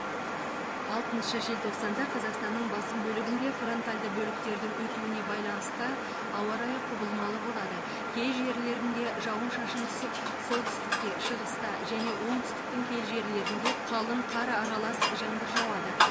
алтыншы желтоқсанда қазақстанның басым бөлігінде фронтальді бөліктердің өтуіне байланысты ауа райы құбылмалы болады кей жерлерінде жауын шашын түсіп солтүстікте шығыста және оңтүстіктің кей жерлерінде қалық қар аралас жаңбыр жауады